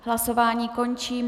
Hlasování končím.